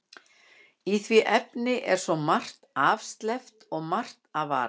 Í því efni er svo margt afsleppt og margt að varast.